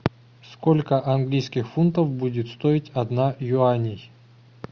сколько английских фунтов будет стоить одна юаней